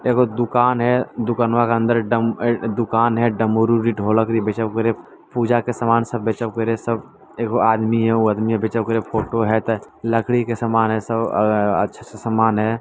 एगो दुकान है दुकनवा के अंदर डम दुकान हेय डमरू भी ढोलक भी बेचव करे पूजा के सामान सब बेचव करे सब एगो आदमी हेय उ आदमियों बेचव करे फ़ोटो हेय त लकड़ी के समान हेय सब अ-अ-अच्छा सा सामान है।